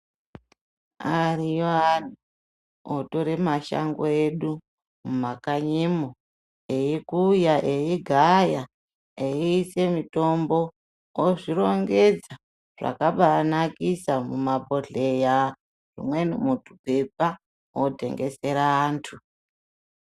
Ariyo antu otore mashango edu mumakanyimo eikuya, eigaya eiise mutombo ozvirongedza zvakabanakisa mumabhodhleya. Umweni mutupepa votengesera antu.